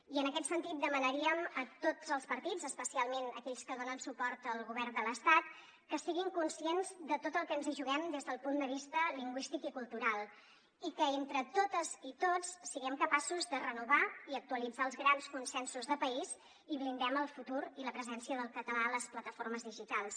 i en aquest sentit demanaríem a tots els partits especialment aquells que donen suport al govern de l’estat que si·guin conscients de tot el que ens hi juguem des del punt de vista lingüístic i cultural i que entre totes i tots siguem capaços de renovar i actualitzar els grans consensos de país i blindem el futur i la presència del català a les plataformes digitals